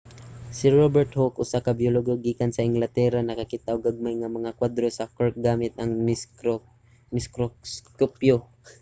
si robert hooke usa ka biologo gikan sa inglatera nakakita og gagmay nga mga kwadro sa cork gamit ang mikroskopyo